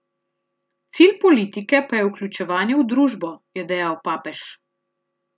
Cilj politike pa je vključevanje v družbo, je dejal papež.